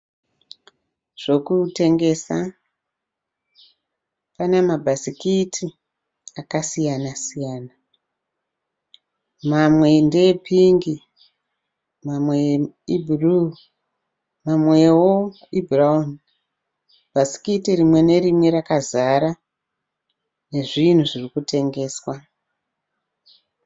Zvokutengesa, pane mabhasikiti akasiyana-siyana. Mamwe ndeepingi, mamwe ibhuruu amwewo ndeebhurawuni. Bhasikiti rimwe nerimwe rakazara nezvinhu zviri kutengeswa.